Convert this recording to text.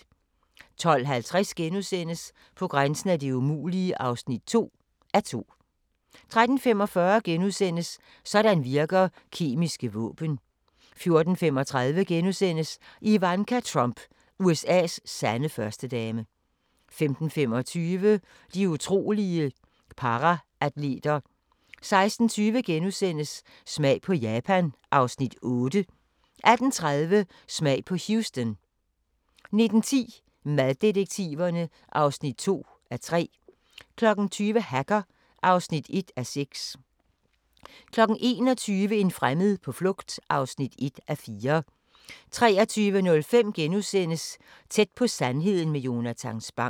12:50: På grænsen af det umulige (2:2)* 13:45: Sådan virker kemiske våben * 14:35: Ivanka Trump – USA's sande førstedame * 15:25: De utrolige paraatleter 16:20: Smag på Japan (Afs. 8)* 18:30: Smag på Houston 19:10: Maddetektiverne (2:3) 20:00: Hacker (1:6) 21:00: En fremmed på flugt (1:4) 23:05: Tæt på sandheden med Jonatan Spang *